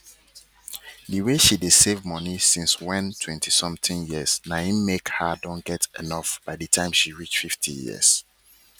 the way she dey save money since when twenty somtheing yearsna him make her don get enough by the time she reach 50years